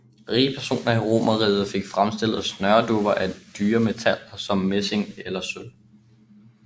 Rige personer i Romeriget fik fremstillet snøredupper af dyre metaller som messing eller sølv